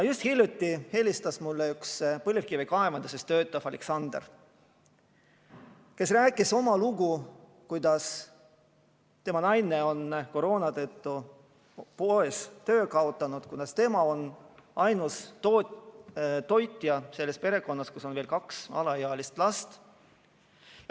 Just hiljuti helistas mulle üks põlevkivikaevanduses töötav Aleksander, kes rääkis oma loo, kuidas tema naine on koroona tõttu poes töö kaotanud ja kuidas tema on ainus toitja selles perekonnas, kus on veel kaks alaealist last.